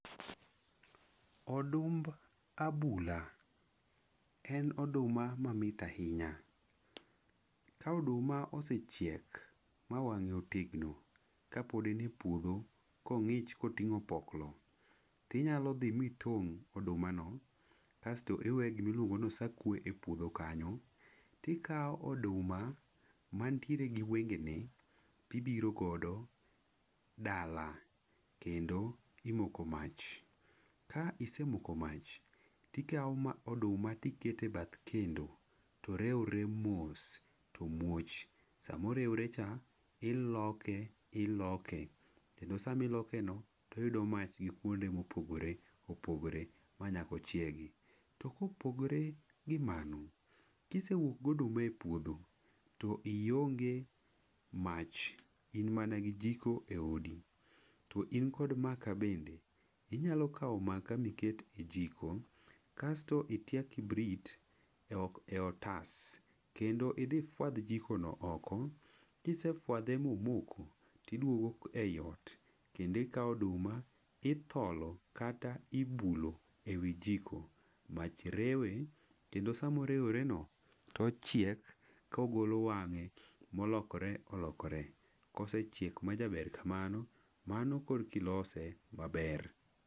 Odumb abula en oduma mait ahinya. Ka oduma osechiek ma wang'e otegno ka pod en e puodho ka ong'ich ka otimo opoklo, tinyalo mi tong' oduma no. Kasto iwe gima iluongo ni osakwe e puodho kanyo. Tikawo oduma mantiere gi wenge ne tibiro godo dala, kendo imoko mach. Ka isemoko mach tikawo oduma tikete bath kendo, to rewre mos, to muoch. Sama orewre cha, iloke iloke kendo sama iloke no to oyudo mach gi kuonde ma opogore opogore ma nyaka ochiegi. To ka opogore gi mano, kisewuok gi oduma e puodho, to ionge mach, in mana gi jiko e odi, to in kod maka bende, inyalo kawo maka miket e jiko. Kasto itya kibrit e e otas kendo idhi ifwadh jiko no oko. Kisefwadhe ma omoko, to idwogo ei ot, kendo ikawo oduma itholo kata ibulo ewi jiko. Mach rewe kendo sama orewre no to ochiek to ogolo wang'e ma olokre olokore. Kosechiek majaber kamano mano korkilose maber.